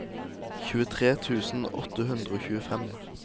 tjuetre tusen åtte hundre og tjuefem